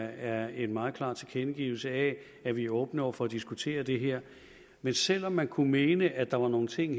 er en meget klar tilkendegivelse af at vi er åbne over for at diskutere det her men selv om man kunne mene at der var nogle ting